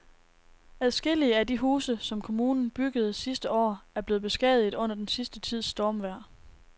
Adskillige af de huse, som kommunen byggede sidste år, er blevet beskadiget under den sidste tids stormvejr.